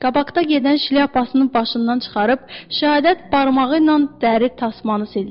Qabaqda gedən şlyapasını başından çıxarıb şəhadət barmağı ilə dəri tasmanı sildi.